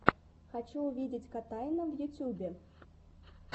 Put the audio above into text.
хочу увидеть котайна в ютьюбе